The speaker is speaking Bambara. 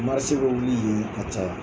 Marise bɛ wuli yen ka caya